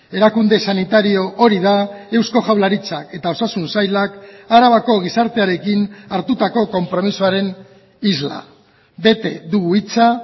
erakunde sanitario hori da eusko jaurlaritzak eta osasun sailak arabako gizartearekin hartutako konpromisoaren isla bete dugu hitza